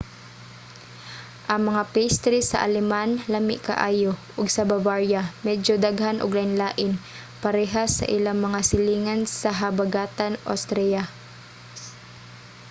ang mga pastry sa aleman lami kaayo ug sa bavaria medyo daghan ug lain-lain parehas sa ilang mga silingan sa habagatan austria